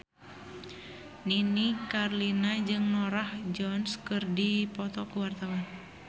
Nini Carlina jeung Norah Jones keur dipoto ku wartawan